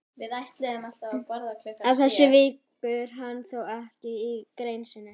Að þessu víkur hann þó ekki í grein sinni.